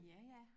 Ja ja